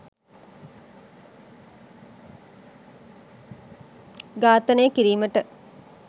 ඝාතනනය කිරීමට